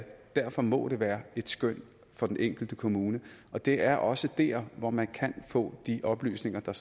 derfor må det være et skøn for den enkelte kommune og det er også der hvor man kan få de oplysninger der